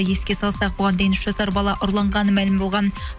еске салсақ бұған дейін үш жасар бала ұрланғаны мәлім болған